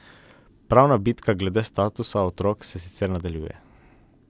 Pravna bitka glede statusa otokov se sicer nadaljuje.